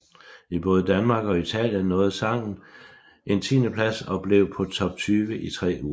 I både Danmark og Italien nåede sangen en tiendeplads og blev på Top 20 i tre uger